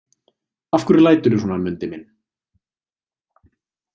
Af hverju læturðu svona, Mundi minn?